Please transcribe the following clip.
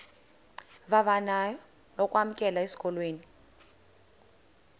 vavanyo lokwamkelwa esikolweni